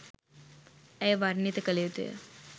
ඇය වර්ණිත කළ යුතුය.